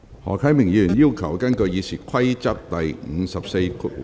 何啟明議員要求根據《議事規則》第544條......